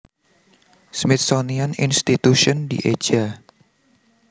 Smithsonian Institution dieja